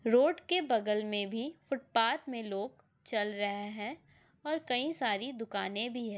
Road के बगल में भी फुट पाथ में लोग चल रहे हैं और कई सारी दुकानें भी हैं।